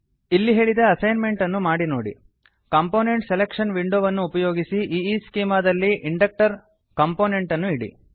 ಇಲ್ಲಿ ಹೇಳಿದ ಎಸೈನ್ಮೆಂಟ್ ಅನ್ನು ಮಾಡಿ ನೋಡಿ ಕಾಂಪೋನೆಂಟ್ ಸೆಲೆಕ್ಷನ್ ವಿಂಡೋವನ್ನು ಉಪಯೋಗಿಸಿ ಈಸ್ಚೆಮಾ ದಲ್ಲಿ ಇಂಡಕ್ಟರ್ ಕಂಪೊನೆಂಟ್ ಅನ್ನು ಇಡಿ